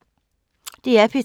DR P3